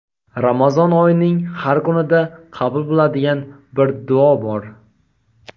Ramazon oyining har kunida qabul bo‘ladigan bir duo bor.